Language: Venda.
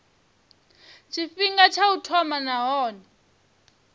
tshifhinga tsha u thoma nahone